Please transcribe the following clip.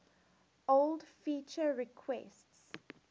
old feature requests